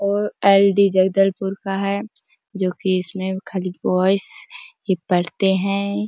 ओअलडी जगदलपुर का है जो की इसमें खाली बॉयज पढ़ते है।